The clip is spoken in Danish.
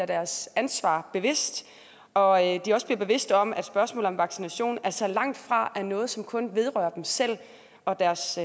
deres ansvar bevidst og at de også bliver bevidst om at spørgsmålet om vaccination altså langtfra er noget som kun vedrører dem selv og deres